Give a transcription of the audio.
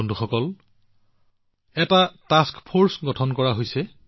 বন্ধুসকল এটা task force গঠন কৰা হৈছে